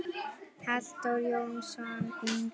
Halldór Jónsson yngri.